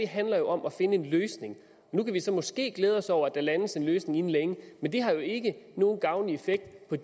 handler jo om at finde en løsning og nu kan vi så måske glæde os over at der landes en løsning inden længe men det har jo ikke nogen gavnlig effekt